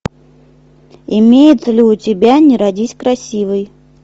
имеется ли у тебя не родись красивой